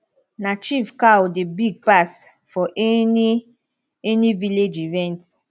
na chief cow dey big pass for any any village event